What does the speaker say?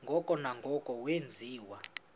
ngoko nangoko wenziwa